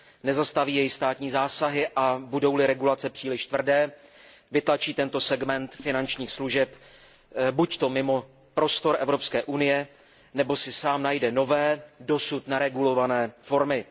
Nezastaví jej státní zásahy a budou li regulace příliš tvrdé, vytlačí tento segment finančních služeb buďto mimo prostor Evropské unie, nebo si sám najde nové, dosud neregulované formy.